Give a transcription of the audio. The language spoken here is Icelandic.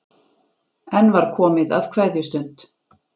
Enn var komið að kveðjustund.